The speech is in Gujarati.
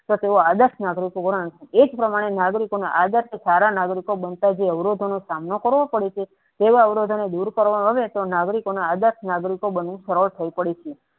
આદર્શ નાગરિકો એજ પ્રમાણે નાગરિકોના આદર્શ નાગરિકો બનતા જોયા અવરોધોનો સામનો કરવો પડે છે તેવા અવરોધોને દૂર કરવા આવે તો નાગરિકોને આદર્શ નાગરિકો બનવું સરળ થઇ પડે છે.